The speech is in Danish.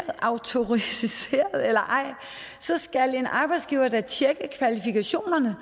er autoriseret eller ej skal en arbejdsgiver da tjekke kvalifikationerne